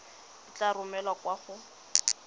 e tla romelwa kwa go